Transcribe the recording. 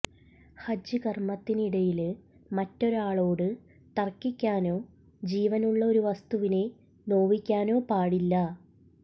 ഹജ്ജ് കര്മത്തിനിടയില് മറ്റൊരാളോട് തര്ക്കിക്കാനോ ജീവനുള്ള ഒരു വസ്തുവിനെ നോവിക്കാനോ പാടില്ല